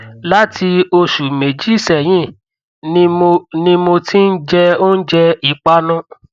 láti oṣù méjì sẹyìn ni mo ni mo ti ń jẹ oúnjẹ ìpanu